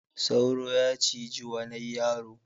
Sauro ya ciji wanai yaro.